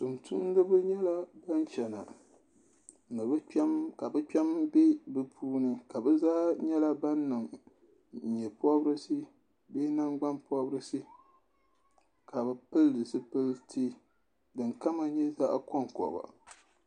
Tuun tumdiba n nyɛ bin chana ka bi kpɛm bɛ bi puuni ka bi zaa nyɛla ban niŋ nyɛ pɔbirisi bee nangbanpɔbirisi ka bi pili zipiliti din kama nyɛ zaɣa kɔnkɔba.